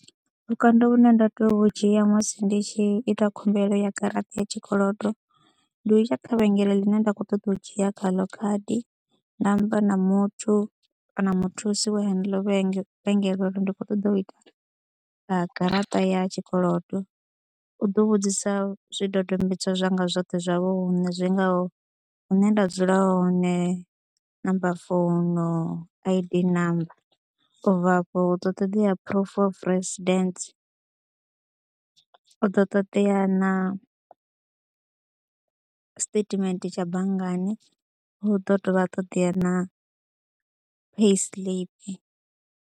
Vhukando hune nda tea u dzhia musi ndi tshi ita khumbelo ya garaṱa ya tshikolodo ndi u ita kha mavhengele ḽine nda kho ṱoḓa u dzhia kha ḽo khadi nda amba na muthu kana muthusi wa heneḽo vhege, vhengele uri ndi khou ṱoḓa u ita vha garaṱa ya tshikolodo, u ḓo vhudzisa zwidodombedzwa zwanga zwoṱhe zwa vhuṋe zwi ngaho hune nda dzula hone, namba founu, I_D namba. U bva afho hu ḓo ṱoḓea proof of residents, hu ḓo ṱoḓea na statement tsha banngani, hu ḓo dovha ha ṱoḓea na payslip.